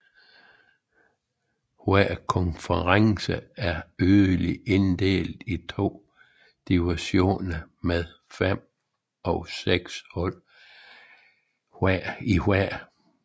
Hver konference er yderligere inddelt i to divisioner med fem eller seks hold i hver